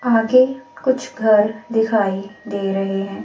आगे कुछ घर दिखाई दे रहे हैं।